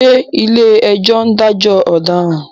Ṣé ìlé-ẹjọ́ ń dajọ ọ̀daràn?